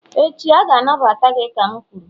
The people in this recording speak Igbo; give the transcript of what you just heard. echi, a ga-anagbata gị ka m kwuru